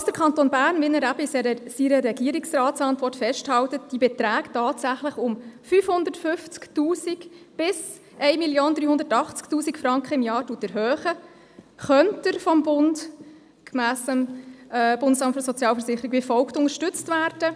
Falls der Kanton Bern, wie er in der Antwort des Regierungsrats festhält, diese Beträge tatsächlich um 550 000 bis 1 380 000 Franken im Jahr erhöht, könnte er vom Bund gemäss BSV wie folgt unterstützt werden: